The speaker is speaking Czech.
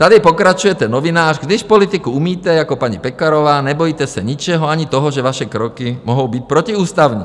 Tady pokračujete novinář: "Když politiku umíte jako paní Pekarová, nebojíte se ničeho, ani toho, že vaše kroky mohou být protiústavní."